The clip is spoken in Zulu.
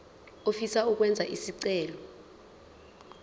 ofisa ukwenza isicelo